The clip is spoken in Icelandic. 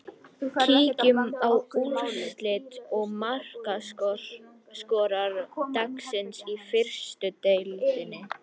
Kíkjum á úrslit og markaskorara dagsins í fyrstu deildinni.